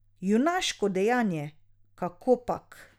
Junaško dejanje kakopak.